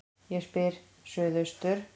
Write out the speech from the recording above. Ég spyr: Suðaustur